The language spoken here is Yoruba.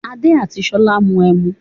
Adé àti Ṣolá ń mu ẹmu.